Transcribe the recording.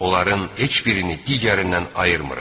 Onların heç birini digərindən ayırmırıq.